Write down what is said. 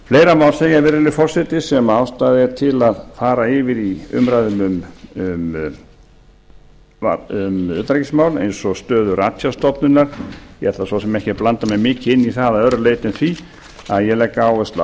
fleira má segja virðulegi forseti sem ástæða er til að fara yfir í umræðunni um utanríkismál eins og stöðu ratsjárstofnunar ég ætla svo sem ekki að blanda mér mikið inn í það að öðru leyti en því að ég legg áherslu